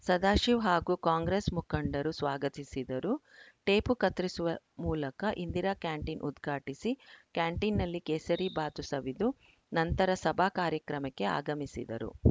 ಸದಾಶಿವ ಹಾಗೂ ಕಾಂಗ್ರೆಸ್‌ ಮುಖಂಡರು ಸ್ವಾಗತಿಸಿದರು ಟೇಪು ಕತ್ತರಿಸುವ ಮೂಲಕ ಇಂದಿರಾ ಕ್ಯಾಂಟೀನ್‌ ಉದ್ಘಾಟಿಸಿ ಕ್ಯಾಂಟೀನ್‌ನಲ್ಲಿ ಕೇಸರಿ ಬಾತ್‌ ಸವಿದು ನಂತರ ಸಭಾ ಕಾರ್ಯಕ್ರಮಕ್ಕೆ ಆಗಮಿಸಿದರು